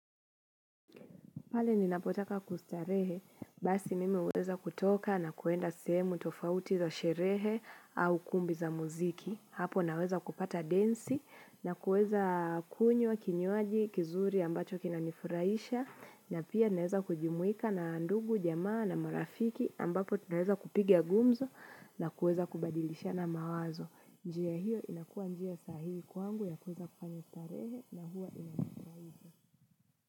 Pale ninapotaka kustarehe, basi mimi huweza kutoka na kuenda sehemu tofauti za sherehe au kumbi za muziki. Hapo naweza kupata densi na kuweza kunywa kinywaji, kizuri ambacho kinanifuraisha. Na pia naweza kujumuika na ndugu, jamaa na marafiki ambapo tunaweza kupiga gumzo na kuweza kubadilishana mawazo. Njia hiyo inakuwa njia sahihi kwangu ya kuweza kufanya starehe na huwa inanifurahisha.